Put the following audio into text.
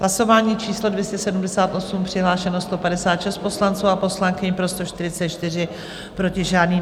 Hlasování číslo 278, přihlášeno 156 poslanců a poslankyň, pro 144, proti žádný.